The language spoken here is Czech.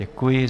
Děkuji.